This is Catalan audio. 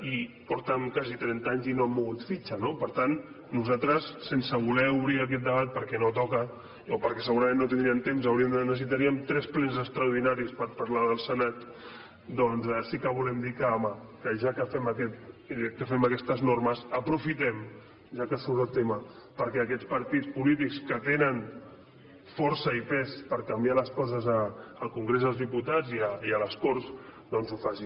i porten quasi trenta anys i no han mogut fitxa no per tant nosaltres sense voler obrir aquest debat perquè no toca o perquè segurament no tindríem temps necessitaríem tres plens extraordinaris per parlar del senat doncs sí que volem dir que home ja que fem aquestes normes aprofitem ho ja que surt el tema perquè aquests partits polítics que tenen força i pes per canviar les coses al congrés dels diputats i a les corts doncs ho facin